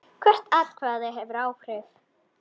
Hvert atkvæði hefur áhrif.